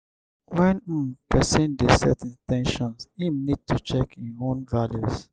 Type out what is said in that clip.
when um person dey set in ten tions im need to check im own values